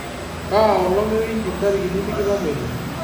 kaa olong' ewiki intarikini tikitam oile